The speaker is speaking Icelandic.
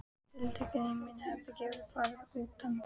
Tiltektin í mínu herbergi varð útundan.